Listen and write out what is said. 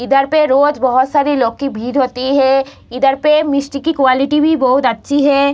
इधर पे रोज बहुत सारी लोग की भीड़ होती है इधर पे मिस्ठी की क्वालिटी भी बहुत अच्छी है।